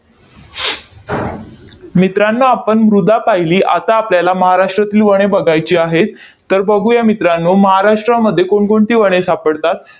मित्रांनो, आपण मृदा पाहिली. आता आपल्याला महाराष्ट्रातील वने बघायची आहेत. तर बघूया मित्रांनो, महाराष्ट्रामध्ये कोणकोणती वने सापडतात?